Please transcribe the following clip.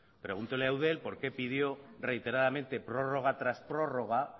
pregúntele a eudel por qué pidió reiteradamente prórroga tras prórroga